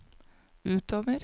utover